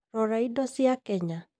Rora indo cia Kenya.